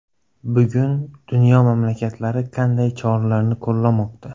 Bugun dunyo mamlakatlari qanday choralarni qo‘llamoqda?